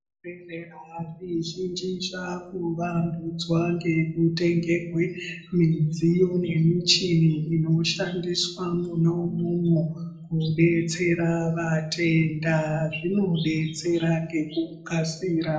Zvibhedhlera zvizhinji zvakavandudzwa ngekutengerwe midziyo nemichini inoshandiswa Mona umwomwo kudetsera vatenda, zvinodetsera ngekukasira.